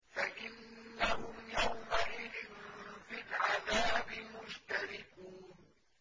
فَإِنَّهُمْ يَوْمَئِذٍ فِي الْعَذَابِ مُشْتَرِكُونَ